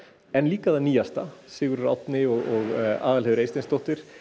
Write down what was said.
en líka það nýjasta Sigurður Árni og Aðalheiður Eysteinsdóttir